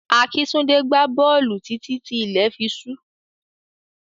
Akíntúndé gbá bọ́ọ̀lù títí tí ilẹ̀ fi ṣú.